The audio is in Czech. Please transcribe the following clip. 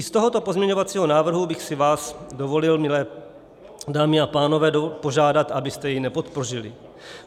I u tohoto pozměňovacího návrhu bych si vás dovolil, milé dámy a pánové, požádat, abyste jej nepodpořili.